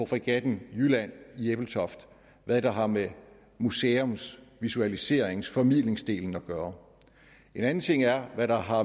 fregatten jylland i ebeltoft hvad der har med museums visualiserings og formidlingsdelen at gøre en anden ting er hvad der har